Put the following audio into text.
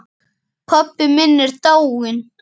Pabbi minn er dáinn.